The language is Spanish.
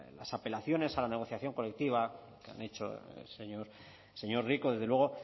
las apelaciones a la negociación colectiva que han hecho el señor señor rico desde luego